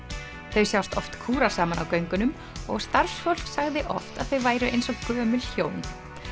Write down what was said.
þau sjást oft kúra saman á göngunum og starfsfólk sagði oft að þau væru eins og gömul hjón